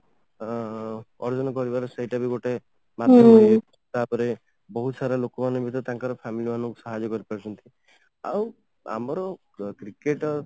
ଅଂ ସେଇଟା ବି ଗୋଟେ ବହୁତ ସାରା ଲୋକମାନେ ବି ତ ତାଙ୍କର family ମାନଙ୍କୁ ସାହାଯ୍ୟ କରିପାରୁଛନ୍ତି ଆଉ ଆମର cricket ଟା